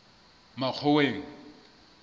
makgoweng